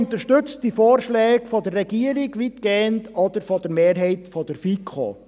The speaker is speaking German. Die BDP unterstützt weitgehend die Vorschläge der Regierung oder der Mehrheit der FiKo.